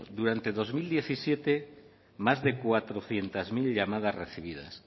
durante dos mil diecisiete más de cuatrocientos mil llamadas recibidas